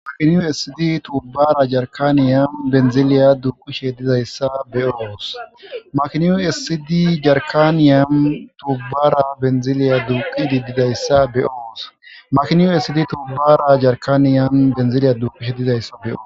Makinu esidi tubara jarikany benizilya duqishe dizayisa be'os makinu esidi tubara jarikany benizilya duqishe dizayisa be'os makinu esidi tubara jarikany benizilya duqishe dizayisa be'os makinu esidi tubara jarikany benizilya duqishe dizayisa be'os .